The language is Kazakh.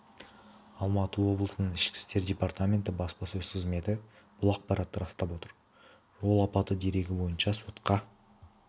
алматы облысының ішкі істер департаменті баспасөз қызметі бұл ақпаратты растап отыр жол апаты дерегі бойынша сотқа